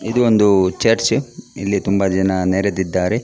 ಇದು ಒಂದು ಚರ್ಚ್ ಇಲ್ಲಿ ತುಂಬ ಜನ ನೆರೆದಿದ್ದಾರೆ .